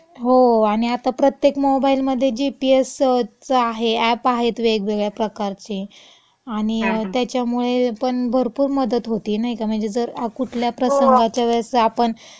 हो. आणि प्रत्येक मोबाइलमधे जीपीएसच आहे, अॅप आहेत वेगवेगळ्या प्रकारचे, आणि त्याच्यामुळेपण भरपूर मदत होती, नाई का? म्हणजे जर कुठल्या प्रसंगाच्यावेळेस आपण, हम्म, हम्म. हो, हो.